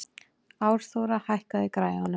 Árþóra, hækkaðu í græjunum.